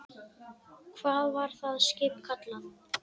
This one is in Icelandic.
Hvað var það skip kallað?